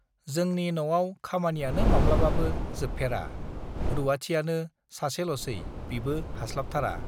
जोंनि नआव खामानियानो माब्लाबाबो जोबफेरा रूवाथियानो सासेलसै बिबो हास्लाबथारा